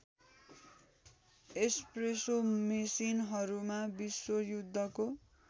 espresso मेसिनहरूमा विश्वयुद्धको